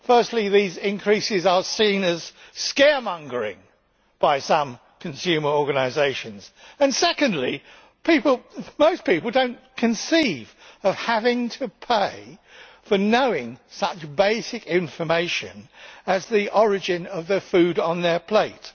Firstly, these increases are seen as scaremongering by some consumer organisations, and secondly, most people do not conceive of having to pay for knowing such basic information as the origin of the food on their plate.